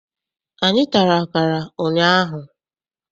Anyị tara akara ụnyaahụ.